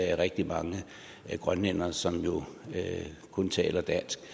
er rigtig mange grønlændere som jo kun taler dansk